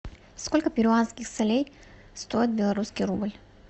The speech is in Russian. сколько перуанских солей стоит белорусский рубль